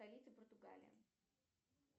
столица португалии